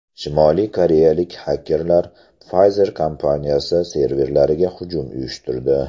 Shimoliy koreyalik xakerlar Pfizer kompaniyasi serverlariga hujum uyushtirdi.